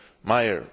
Meyer.